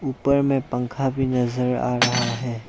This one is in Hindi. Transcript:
ऊपर में पंखा भी नजर आ रहा है।